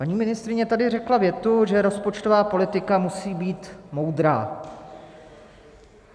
Paní ministryně tady řekla větu, že rozpočtová politika musí být moudrá.